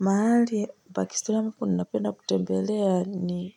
Mahali, Pakistan kuunapenda kutembelea ni